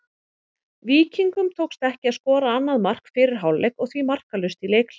Víkingum tókst ekki að skora annað mark fyrir hálfleik og því markalaust í leikhléi.